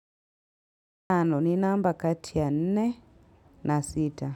Tano ni namba kati ya nne na sita.